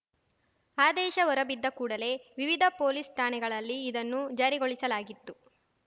ಆದೇಶ ಹೊರಬಿದ್ದ ಕೂಡಲೇ ವಿವಿಧ ಪೊಲೀಸ್‌ ಠಾಣೆಗಳಲ್ಲಿ ಇದನ್ನು ಜಾರಿಗೊಳಿಸಲಾಗಿತ್ತು